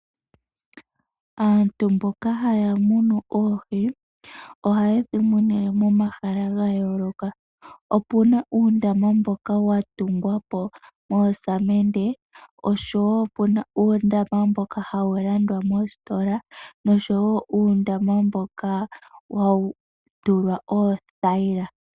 Aantu mboka haya munu oohi, ohaye dhi munine omahala ga yooloka. Opuna uundama mboka wa tungwa po nevi, oshowo opuna uundama mboka hawu landwa moositola, noshowo uundama mboka hawu tulwa oothayila.